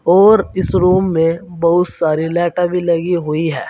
और इस रूम में बहुत सारे लाइटा भी लगी हुई है।